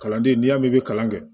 Kalanden n'i y'a mɛn i bɛ kalan kɛ